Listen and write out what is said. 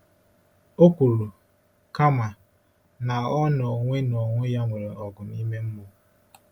O kwuru, kama, na ọ n’onwe n’onwe ya nwere ọgụ ime mmụọ.